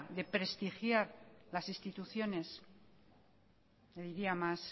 de prestigiar las instituciones le diría más